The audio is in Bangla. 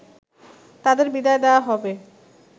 তাদের বিদায় দেয়া হবে